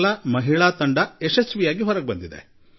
ಇದನ್ನು ಕೇಳಿದಾಗ ರೋಮಾಂಚಿತರಾಗಿಬಿಡುತ್ತೇವೆ ಅಲ್ಲವೇ